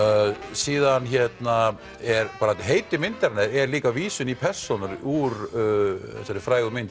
síðan er heiti myndarinnar er líka vísun í persónur úr þessari frægu mynd